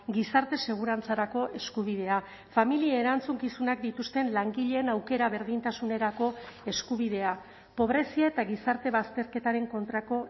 gizarte segurantzarako eskubidea familia erantzukizunak dituzten langileen aukera berdintasunerako eskubidea pobrezia eta gizarte bazterketaren kontrako